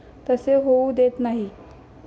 तसे होऊ देत नाही.